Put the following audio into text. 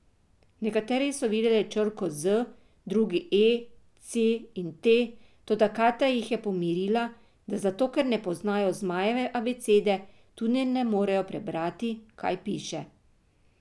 Nekateri so videli črko Z, drugi E, C in T, toda Katja jih je pomirila, da zato ker ne poznajo zmajeve abecede, tudi ne morejo prebrati, kaj piše.